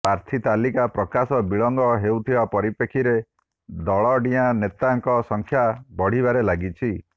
ପ୍ରାର୍ଥୀ ତାଲିକା ପ୍ରକାଶ ବିଳମ୍ବ ହେଉଥିବା ପରିପ୍ରେକ୍ଷୀରେ ଦଳଡିଆଁ ନେତାଙ୍କ ସଂଖ୍ୟା ବଢିବାରେ ଲାଗିଛି